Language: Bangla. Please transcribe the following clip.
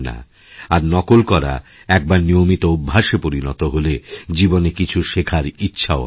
আর নকল করা একবার নিয়মিত অভ্যাসে পরিণতহলে জীবনে কিছু শেখার ইচ্ছাও হবে না